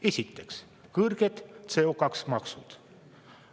Esiteks, kõrged CO2-maksud.